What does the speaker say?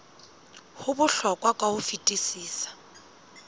ho bohlokwa ka ho fetisisa